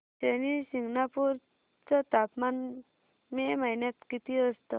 शनी शिंगणापूर चं तापमान मे महिन्यात किती असतं